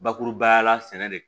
Bakurubaya la sɛnɛ de